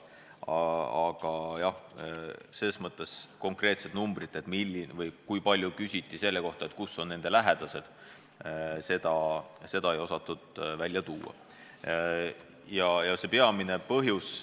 Aga konkreetset arvu, kui palju küsiti selle kohta, kus on kellegi lähedane, ei osatud öelda.